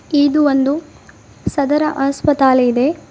ಇದು ಒಂದು ಸದರ ಆಸ್ಪತಾಲಿ ದೆ.